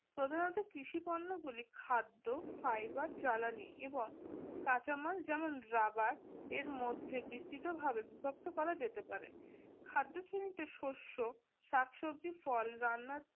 তোদের মত কৃষি পণ্যগুলি খাদ্য fiber জ্বালানি এবং কাঁচামাল যেমন rubber এর মধ্যে বিস্তৃতভাবে বিভক্ত করা যেতে পারে শস্য শাকসবজি ফল রান্না